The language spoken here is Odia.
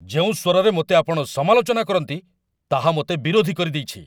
ଯେଉଁ ସ୍ୱରରେ ମୋତେ ଆପଣ ସମାଲୋଚନା କରନ୍ତି, ତାହା ମୋତେ ବିରୋଧୀ କରିଦେଇଛି।